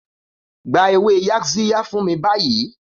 Gba ewé Yaxiya fún mi báyìí!